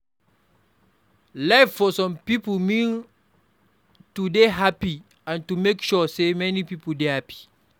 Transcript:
Life for some pipo mean to dey happy and to make sure sey many pipo dey happy